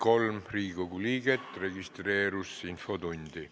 Kohaloleku kontroll Infotundi registreerus 33 Riigikogu liiget.